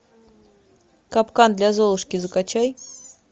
капкан для золушки закачай